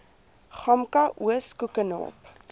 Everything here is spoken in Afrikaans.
gamka oos koekenaap